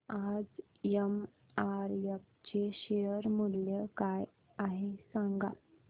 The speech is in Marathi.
आज एमआरएफ चे शेअर मूल्य काय आहे सांगा